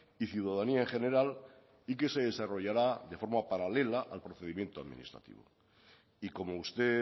y ciudadanía en general y que se desarrollará de forma paralela al procedimiento administrativo y como usted